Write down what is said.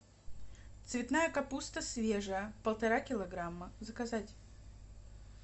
цветная капуста свежая полтора килограмма заказать